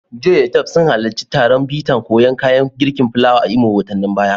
Joy da Tope sun halarci taron bita koyan kayan girkin fulawa a Imo watannin baya.